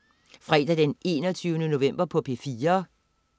Fredag den 21. november - P4: